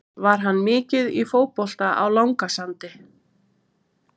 Var hann mikið í fótbolta á Langasandi?